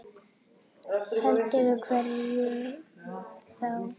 Heldur hverjum þá?